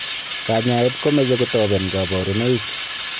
Kanyaet komeche kotoben kabarunoik.